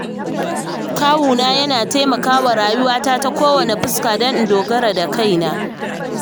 Kawuna yana taimakawa rayuwata ta kowace fuska don in dogara da kaina.